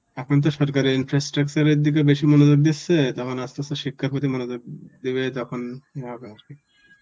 এখন তো সরকারের infrastructure এর দিকে বেশি মনোযোগ দিচ্ছে যখন আস্তে আস্তে শিক্ষার প্রতি মনোযোগ দিবে তখন হবে আর কি.